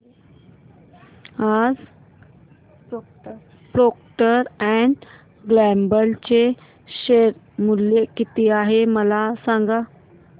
आज Procter and Gamble चे share मूल्य किती आहे मला सांगा